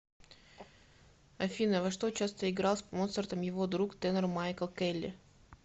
афина во что часто играл с моцартом его друг тенор майкл келли